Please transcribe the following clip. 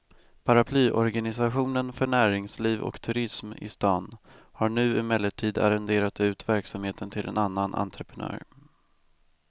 Paraplyorganisationen för näringsliv och turism i stan har nu emellertid arrenderat ut verksamheten till en annan entreprenör.